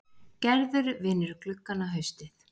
Gerður vinnur gluggana haustið